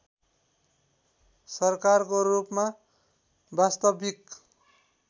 सरकारको रूपमा वास्तविक